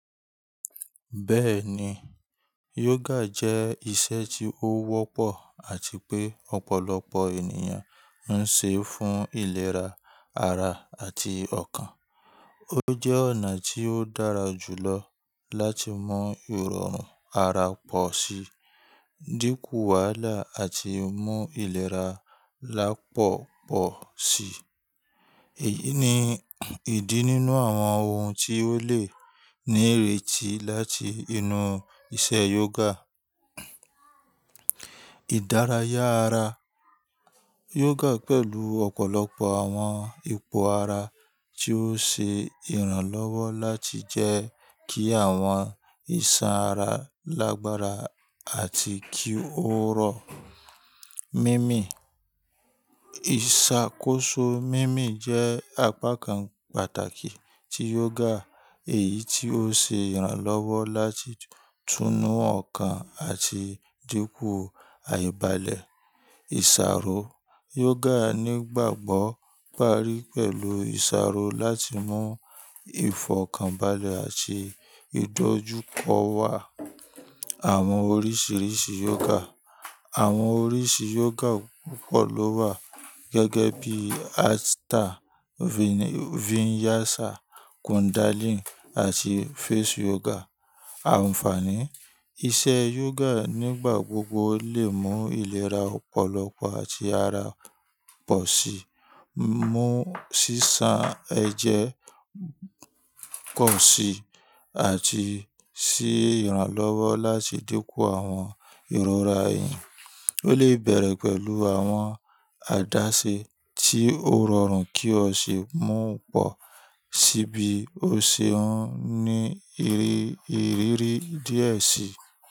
Bẹ́ẹ̀ni, yoga jẹ́ iṣẹ́ tí ó wọ́pọ̀ àti pé ọ̀pọ̀lọpọ̀ ènìyàn ń ṣe fún ìlera ara àti ọkàn. Ó jẹ́ ọ̀nà tí ó dára jùlọ láti mu ìrọ̀rùn ara pọ̀ sí, dínkù wàhálà àti mú ìlera lápọ̀pọ̀ si. Èyí ni ìdí nínú àwọn ohun tí ó lè ní ìrètí láti inú iṣẹ́ yoga. Ìdárayá ara. Yoga pẹ̀lú ọ̀pọ̀lọpọ̀ àwọn ipò ara tí ó ṣe ìrànlọ́wọ́ láti jẹ́ kí àwọn ìṣàn ara lágbára àti kí ó rọ̀. Mímì. Ìṣàkóso mímì jẹ́ apá kan pàtàkì tí yoga, èyí tí ó ṣe ìrànlọ́wọ́ láti túnu ọkàn àti dínkù àìbalẹ̀. Ìṣàrò. Yoga nígbàgbọ́ parí pẹ̀lú ìṣàrò láti mú ìfọ̀kànbalẹ̀ àti ìdójúkọ wá. Àwọn oríṣiríṣi yoga. Àwọn oríṣi yoga púpọ̀ ló wà gẹ́gẹ́ bí Hatha, Vinyasa, Kundalini àti face yoga. Àǹfààní. Iṣẹ́ yoga nígbà gbogbo lè mú ìlera ọ̀pọ̀lọpọ̀ àti ara pọ̀ sí, mú sísan ẹ̀jẹ̀ pọ̀ sí àti ṣé ìrànlọ́wọ́ láti dínkù àwọn ìrora ẹ̀yìn. Ó lè bẹ̀rẹ̀ pẹ̀lú àwọn àdáṣe tí ó rọrùn kí o sì mú ọ̀ pọ̀ sí bí o ṣe ń ní ìrírí díẹ̀ sí.